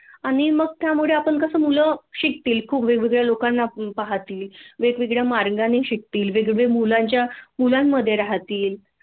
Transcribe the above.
आणि मग त्यामुळे आपण कसं मुले शिकतील खूप वेगवेगळ्या खूप वेगवेगळ्या लोकांना पाहतील वेगवेगळ्या मार्गाने शिकतील वेगवेगळ्या मुलांच्या मुलांमधे राहतील